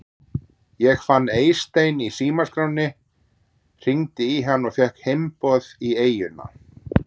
Ég fann Eystein í símaskránni, hringdi í hann og fékk heimboð í eyjuna.